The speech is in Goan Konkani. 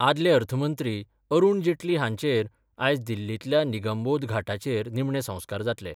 आदले अर्थमंत्री अरुण जेटली हांचेर आयज दिल्लीतल्या निगमबोध घाटाचेर निमणे संस्कार जातले.